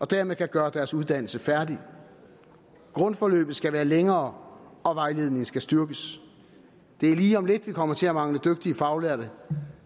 dermed kan gøre deres uddannelse færdig grundforløbet skal være længere og vejledningen skal styrkes det er lige om lidt vi kommer til at mangle dygtige faglærte og